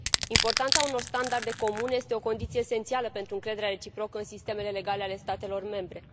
Importanța unor standarde comune este o condiție esențială pentru încrederea reciprocă în sistemele legale ale statelor membre.